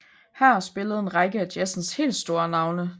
Her spillede en række af jazzens helt store navne